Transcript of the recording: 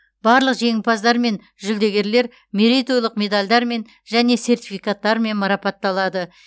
барлық жеңімпаздар мен жүлдегерлер мерейтойлық медальдармен және сертификаттармен марапатталады